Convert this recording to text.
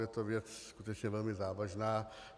Je to věc skutečně velmi závažná.